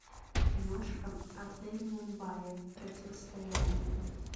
киношка отель мумбаи противостояние